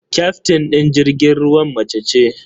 Kyaftin ɗin jirgin ruwan mace ce.